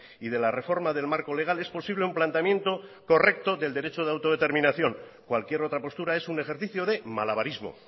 y de la reforma del marco legal es posible un planteamiento correcto del derecho de autodeterminación cualquier otra postura es un ejercicio de malabarismo